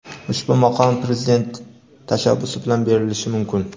Ushbu maqom Prezident tashabbusi bilan berilishi mumkin.